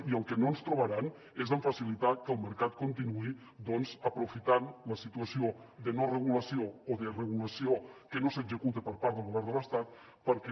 i en el que no ens trobaran és en facilitar que el mercat continuï doncs aprofitant la situació de no regulació o de regulació que no s’executa per part del govern de l’estat perquè